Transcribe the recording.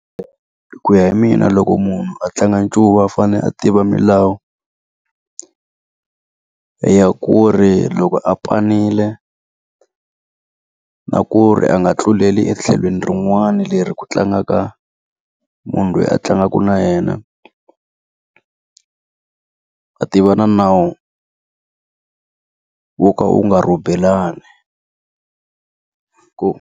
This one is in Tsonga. Ku ya hi mina loko munhu a tlanga ncuva u fanele a tiva milawu ya ku ri loko a panile, na ku ri a nga tluleli etlhelweni rin'wana leri ku tlangaka munhu loyi a tlangaka na yena. A tiva na nawu wo ka wu nga rhobelani .